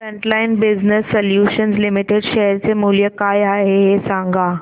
frontline business solutions limited share चे मूल्य काय आहे हे सांगा